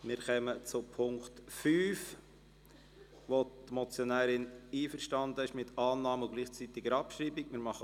Wir kommen zum Punkt 5, bei dem die Motionärin mit der Annahme bei gleichzeitiger Abschreibung einverstanden ist.